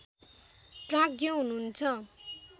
प्राज्ञ हुनुहुन्छ